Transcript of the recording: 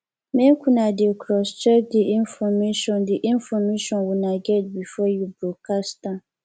make una dey crosscheck the information the information una get before you broadcast am